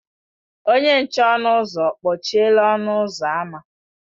Onye nche ọnụ ụzọ ọ kpọchiela ọnụ ụzọ ámá?